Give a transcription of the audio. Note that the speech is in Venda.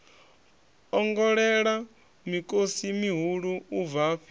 ongolela mikosi mihulu u bvafhi